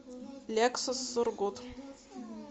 лексус сургут